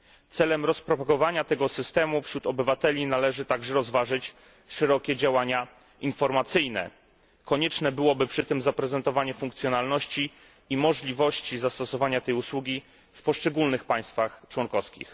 Celem rozpropagowania tego systemu wśród obywateli należy także rozważyć szerokie działania informacyjne. Konieczne byłoby przy tym zaprezentowanie funkcjonalności i możliwości zastosowania tej usługi w poszczególnych państwach członkowskich.